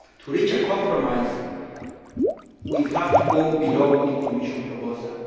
To reach a compromise we have to go below the Commission proposal.